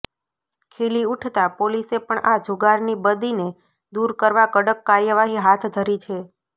ખીલી ઉઠતા પોલીસે પણ આ જુગારની બદીને દૂર કરવા કડક કાર્યવાહી હાથ ધરી છે